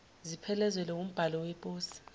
ziphelezelwe wumbhalo weposi